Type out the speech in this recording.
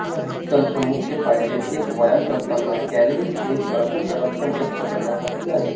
हे तंत्र मुख्य फायदे एक व्यायाम करताना कॅलरीज एक प्रचंड रक्कम नष्ट करण्यासाठी आहे